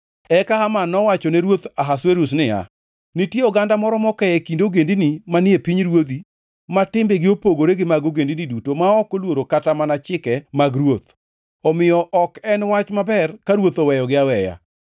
Eka Haman nowachone ruoth Ahasuerus niya, “Nitie oganda moro moke e kind ogendini manie pinyruodhi ma timbegi opogore gi mag ogendini duto ma ok oluoro kata mana chike mag ruoth; omiyo ok en wach maber ka ruoth oweyogi aweya.